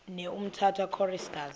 ne umtata choristers